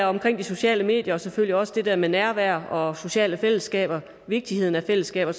omkring de sociale medier og selvfølgelig også det der med nærvær og sociale fællesskaber vigtigheden af fællesskaber